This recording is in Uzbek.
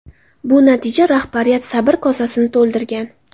Bu natija rahbariyat sabr kosasini to‘ldirgan.